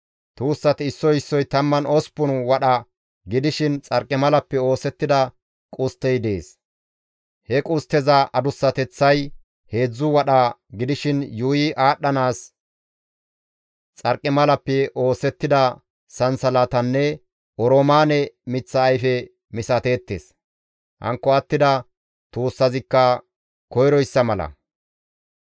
Tuussati issoy issoy 18 wadha gidishin xarqimalappe oosettida qusttey dees; he qustteza adussateththay heedzdzu wadha gidishin Yuuyi aadhdhanaas xarqimalappe oosettida sansalatanne Oroomaane miththa ayfe misateettes; hankko attida tuussazikka koyroyssa mala.